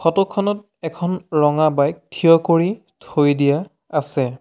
Photo খনত এখন ৰঙা বাইক থিয় কৰি থৈ দিয়া আছে।